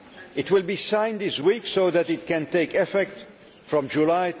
It will be signed this week so that it can take effect from